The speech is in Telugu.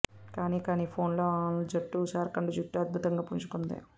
కానీ కానీ ఫాలో ఆన్ లో జట్టు జార్ఖండ్ జట్టు అద్భుతంగా పుంజుకుంది